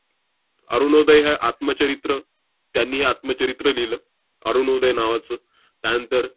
'अरुणोदय' हे आत्मचरित्र~ त्यांनी हे आत्मचरित्र लिहिलं 'अरुणोदय' नावाचं. त्यानंतर